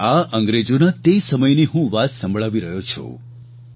અને આ અંગ્રેજોના તે સમયની હું વાત સંભળાવી રહ્યો છું